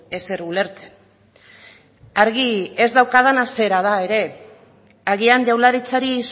ezer ulertzen argi ez daukadana zera da ere agian jaurlaritzari